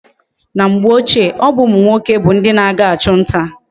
Na mgbe ochie, obu umu nwoke bu ndi na aga achu nta